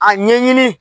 A ɲɛɲini